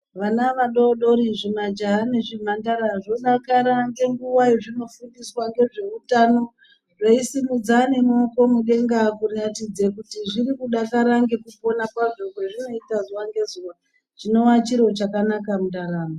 Vana vadodori zvimajaha nezvimhandara zvodakara ngenguwa yezvinofundiswa ngezve utano zveisimudza nemuoko mudenga, kuratidze kuti zvirikudakara ngekufunda kwazvo kwazvinoita zuwa ngezuwa, chinowa chiro chakanaka mundaramo.